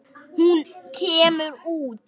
En hún kemur út.